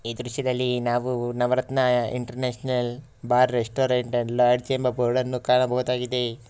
ಈ ದೃಶ್ಯದಲ್ಲಿ ನಾವು Navaratna international bar restaurant and lodge ಎಂಬ ಬೋರ್ಡ್ ಅನ್ನು ಕಾಣಬಹುದಾಗಿದೆ.